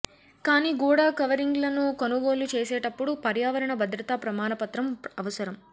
కానీ గోడ కవరింగ్లను కొనుగోలు చేసేటప్పుడు పర్యావరణ భద్రతా ప్రమాణపత్రం అవసరం